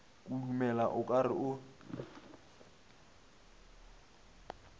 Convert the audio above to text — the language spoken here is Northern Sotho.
kudumela o ka re o